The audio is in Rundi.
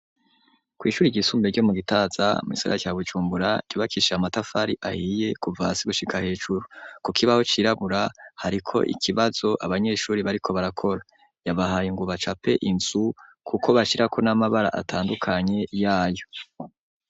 Kw'ishure ryisumbuye ryo mu gitaza mu kisaga cya gucumbura ryubakishe amatafari ahiye kuva hasi gushika hejuru, ku kibaho cyirabura hariko ikibazo abanyeshuri bariko barakora, yabahaye ngubacape insu kuko bashirako n'amabara atandukanye yayo.